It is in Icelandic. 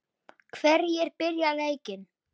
Hverjir byrja leikinn?